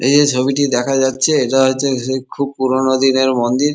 এই যে ছবিটি দেখা যাচ্ছে এটা হচ্ছে যে খুবই পুরোনো দিনের মন্দির ।